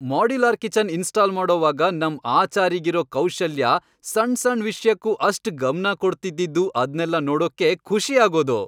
Modular kitchen install ಮಾಡೋವಾಗ ನಮ್ ಆಚಾರಿಗಿರೋ ಕೌಶಲ್ಯ, ಸಣ್ ಸಣ್ ವಿಷ್ಯಕ್ಕೂ ಅಷ್ಟ್ ಗಮ್ನ ಕೊಡ್ತಿದ್ದಿದ್ದು ಅದ್ನೆಲ್ಲ ನೋಡೋಕ್ಕೇ ಖುಷಿ ಆಗೋದು.